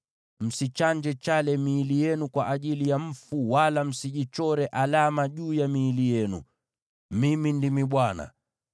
“ ‘Msichanje chale miili yenu kwa ajili ya mfu, wala msijichore alama juu ya miili yenu. Mimi ndimi Bwana .